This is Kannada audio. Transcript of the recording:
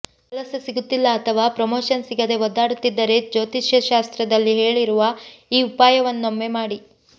ಕೆಲಸ ಸಿಗುತ್ತಿಲ್ಲ ಅಥವಾ ಪ್ರಮೋಶನ್ ಸಿಗದೆ ಒದ್ದಾಡುತ್ತಿದ್ದರೆ ಜ್ಯೋತಿಷ್ಯ ಶಾಸ್ತ್ರದಲ್ಲಿ ಹೇಳಿರುವ ಈ ಉಪಾಯವನ್ನೊಮ್ಮೆ ಮಾಡಿ